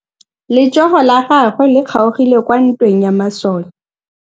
Letsôgô la tsala ya gagwe le kgaogile kwa ntweng ya masole.